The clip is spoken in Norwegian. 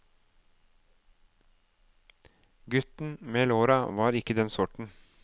Gutten med låra var ikke den sorten.